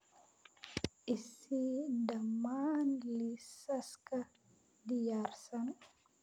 i sii dhammaan liisaska diyaarsan